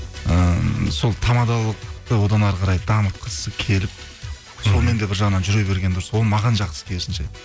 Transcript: ыыы сол тамадылықты одан әрі қарай дамытқысы келіп сонымен де бір жағынан жүре берген дұрыс ол маған жақсы керісінше